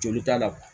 Joli t'a la